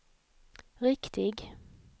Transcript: riktig